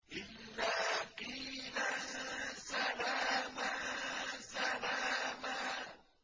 إِلَّا قِيلًا سَلَامًا سَلَامًا